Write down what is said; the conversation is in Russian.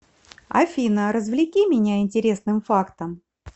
афина развлеки меня интересным фактом